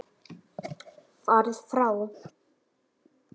Farið frá!